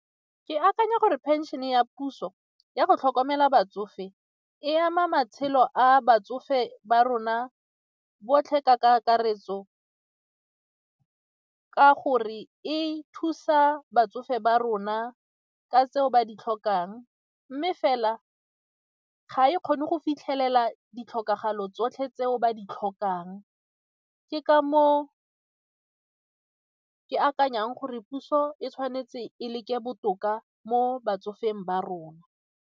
Ke akanya gore phenšene ya puso ya go tlhokomela batsofe e ama matshelo a batsofe ba rona botlhe ka kakaretso ka gore e thusa batsofe ba rona ka tseo ba di tlhokang mme fela ga e kgone go fitlhelela ditlhokegalo tsotlhe tseo ba di tlhokang, ke ka moo ke akanyang gore puso e tshwanetse e le ke botoka mo batsofeng ba rona.